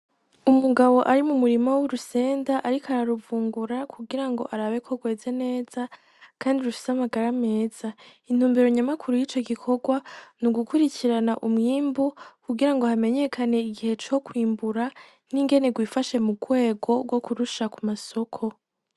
Umugabo ari mu murimo w'urusenda, ariko araruvungura kugira ngo arabeko rweza neza, kandi rufise amagara ameza intumbero nyamakuru y'ico gikorwa ni ugukurikirana umwimbu kugira ngo hamenyekane igihe co kwimbura n'ingenego ifashe mu rwego rwo kurusha ku masoko.